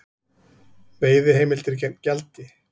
Veiðiheimildir gegn gjaldi